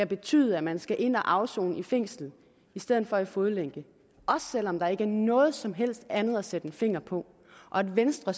betyder at man skal ind at afsone i fængsel i stedet for i fodlænke også selv om der ikke er noget som helst andet at sætte en finger på og at venstre